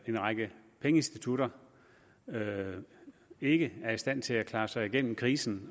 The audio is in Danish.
en række pengeinstitutter ikke er i stand til at klare sig igennem krisen